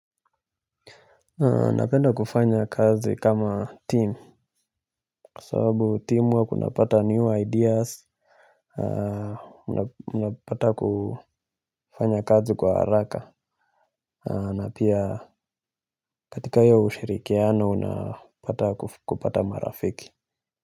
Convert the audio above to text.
Napenda kufanya kazi kama timu kwa sababu team work unapata new ideas, unapata kufanya kazi kwa haraka na pia katika hiyo ushirikiano unapata kupata marafiki.